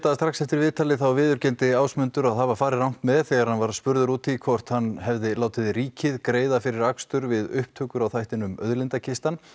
að strax eftir viðtalið viðurkenndi Ásmundur að hafa farið rangt með þegar hann var spurður út í hvort hann hefði látið ríkið greiða fyrir akstur við upptökur á þættinum Auðlindakistan